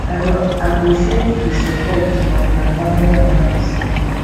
i go appreciate di support of my family and friends